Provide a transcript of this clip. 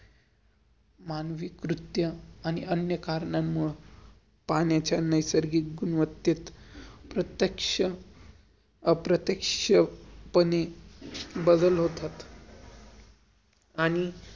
मानविक कृत्य आणि अन्य कारणा-मूळं, पाण्याच्या नैसर्गिक गुन्वत्तेत प्रतेक्ष अप्रतेक्ष पने बदल होतात आणि